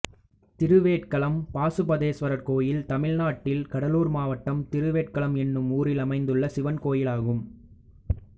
திருவேட்களம் பாசுபதேஸ்வரர் கோயில் தமிழ்நாட்டில் கடலூர் மாவட்டம் திருவேட்களம் என்னும் ஊரில் அமைந்துள்ள சிவன் கோயிலாகும்